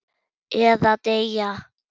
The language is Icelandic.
Eða deyja.